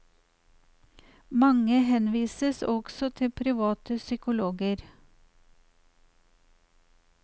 Mange henvises også til private psykologer.